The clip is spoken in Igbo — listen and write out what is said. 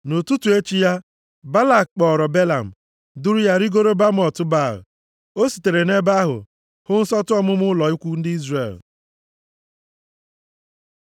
Nʼụtụtụ echi ya, Balak kpọọrọ Belam, duru ya rigoo Bamot Baal. + 22:41 Baal aha nke pụtara onye nzọpụta bụ chi egbe eluigwe nke ndị ala Siria na Kenan. O sitere nʼebe ahụ hụ nsọtụ ọmụma ụlọ ikwu ndị Izrel.